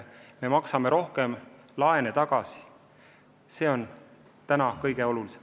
Me maksame rohkem laene tagasi, see on kõige olulisem.